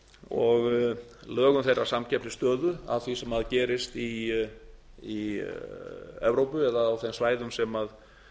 og lögum þeirra samkeppnisstöðu að því sem gerist í evrópu eða á þeim svæðum sem